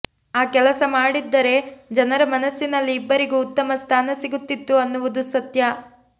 ಆ ಕೆಲಸ ಮಾಡಿದ್ದರೆ ಜನರ ಮನಸ್ಸಲ್ಲಿ ಇಬ್ಬರಿಗೂ ಉತ್ತಮ ಸ್ಥಾನ ಸಿಗುತ್ತಿತ್ತು ಅನ್ನುವುದು ಸತ್ಯ